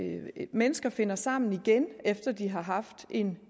mennesker finder sammen igen efter at de har haft en